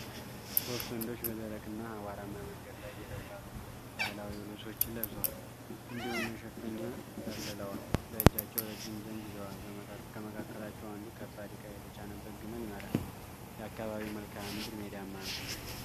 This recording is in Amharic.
ሶስት ወንዶች በደረቅና አቧራማ መንገድ ላይ እየተጓዙ ነው። ባህላዊ ልብሶችን ለብሰዋል እንዲሁም መሸፈኛ ጠቅልለዋል። በእጃቸው ረጅም ዘንግ ይዘዋል. ከመካከላቸው አንዱ ከባድ ዕቃ የተጫነበት ግመል ይመራል። የአካባቢው መልክአ ምድር ሜዳማ ነው።